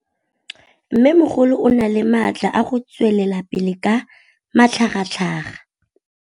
Mmêmogolo o na le matla a go tswelela pele ka matlhagatlhaga.